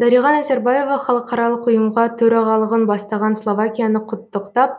дариға назарбаева халықаралық ұйымға төрағалығын бастаған словакияны құттықтап